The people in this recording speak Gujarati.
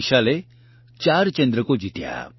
વિશાલે ૪ ચંદ્રકો જીત્યા